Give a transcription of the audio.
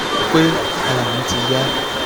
ó ti um ń ṣe mí bíi um pé ara mi ti yá